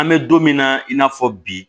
An bɛ don min na i n'a fɔ bi